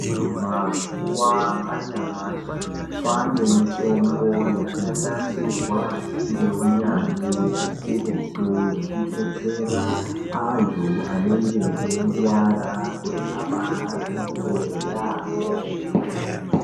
Mazuwa anyamashi kwaane mitombo yakanasirwa ngeunyanzvi ukurutu yekudetsera anthu anenge eirwara kuti abaarapike yaamho.